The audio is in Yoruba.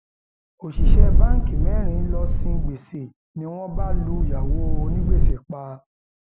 òṣìṣẹ báǹkì mẹrin lóò sin gbèsè ni wọn bá lùyàwó onígbèsè pa